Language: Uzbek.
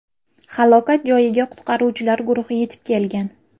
Halokat joyiga qutqaruvchilar guruhi yetib kelgan.